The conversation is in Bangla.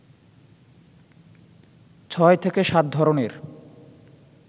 ছয় থেকে সাত ধরনের